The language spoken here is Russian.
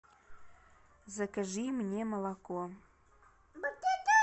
закажи мне молоко